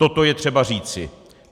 Toto je třeba říci.